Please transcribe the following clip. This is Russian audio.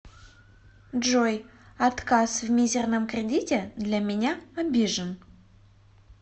джой отказ в мизирном кредите для меня обижен